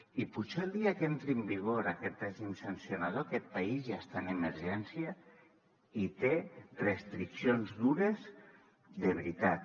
i potser el dia que entri en vigor aquest règim sancionador aquest país ja està en emergència i té restriccions dures de veritat